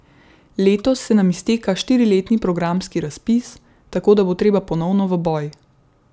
Letos se nam izteka štiriletni programski razpis, tako da bo treba ponovno v boj.